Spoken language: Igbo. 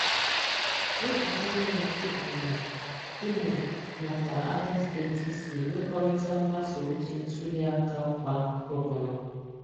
Lee ka INEC Ebonyi, Imo nakwa Abia steeti si nwekọrịta mgbasa ozi ntuliaka ọkwa gọvanọ.